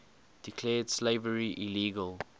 declared slavery illegal